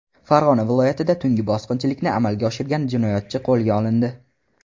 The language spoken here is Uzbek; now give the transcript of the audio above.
Farg‘ona viloyatida tungi bosqinchilikni amalga oshirgan jinoyatchi qo‘lga olindi.